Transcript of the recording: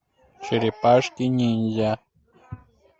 черепашки ниндзя